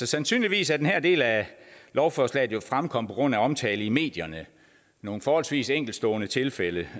sandsynligvis er den her del af lovforslaget jo fremkommet på grund af omtale i medierne af nogle forholdsvis enkeltstående tilfælde